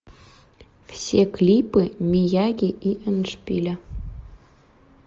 все клипы мияги и эндшпиля